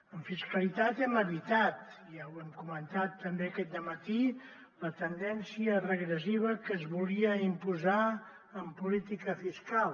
en fiscalitat hem evitat ja ho hem comentat també aquest dematí la tendència regressiva que es volia imposar en política fiscal